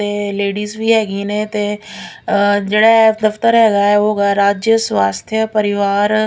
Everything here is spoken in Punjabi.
ਤੇ ਲੇਡੀਜ ਵੀ ਹੈਗੀ ਨੇ ਤੇ ਅ ਜਿਹੜੇ ਦਫਤਰ ਹੈਗਾ ਐ ਉਹ ਗਾ ਰਾਜਯ ਸਵਾਸਥਯ ਪਰਿਵਾਰ।